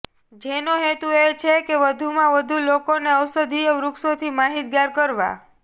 જેનો હેતુ એ છે કે વધુમાં વધુ લોકોને ઔષધીય વૃક્ષોથી માહિતગાર કરવા